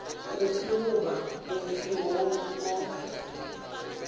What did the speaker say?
ofe goba ofe wo o